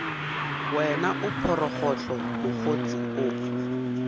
wena o phorogohlo mokgotse o